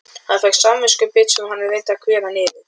Hann fékk samviskubit sem hann reyndi að kveða niður.